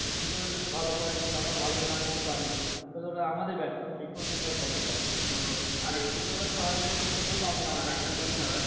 শিক্ষকেরা যদি ভালো পড়ায় যদি আমরা ভালোভাবে না নিতে পারি তাহলে ওটা আমাদের ব্যার্থতা। শিক্ষকদের তো আর ব্যার্থতা না